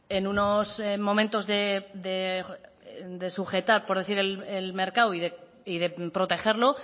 en unos momentos de sujetar por decir el mercado y de protegerlo